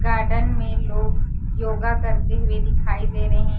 garden में लोग yoga करते हुए दिखाई दे रहे--